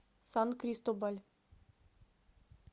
сан кристобаль